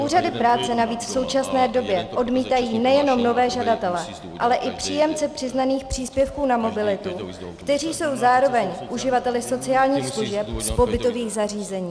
Úřady práce navíc v současné době odmítají nejenom nové žadatele, ale i příjemce přiznaných příspěvků na mobilitu, kteří jsou zároveň uživateli sociálních služeb z pobytových zařízení.